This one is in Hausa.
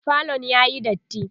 falon yayi datti